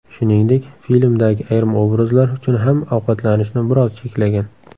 Shuningdek, filmdagi ayrim obrazlar uchun ham ovqatlanishni biroz cheklagan.